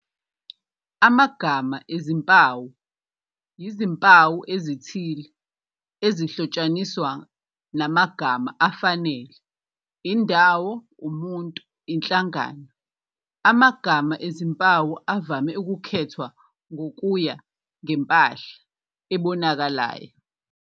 Amagama ezimpawu yizimpawu ezithile ezihlotshaniswa namagama afanele, indawo, umuntu, inhlangano. Amagama ezimpawu avame ukukhethwa ngokuya ngempahla ebonakalayo.